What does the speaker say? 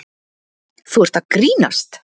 Þú ert að grínast?